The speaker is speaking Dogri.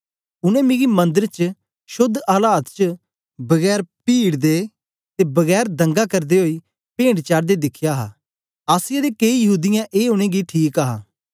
उनै मिकी मंदर च शोद्ध आलात च बगैर पीड़ दे ते बगैर दंगा करदे ओई पेंट चाढ़दे दिखया हा आसिया दे केई यहूदीयें ए उनेंगी ठीक हा